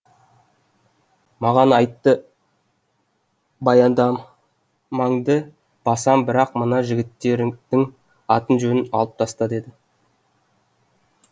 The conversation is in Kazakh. маған айтты баяндамаңды басам бірақ мына жігіттердің атын жөнін алып таста деді